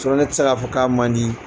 ne tɛ se ka fɔ k'a man di.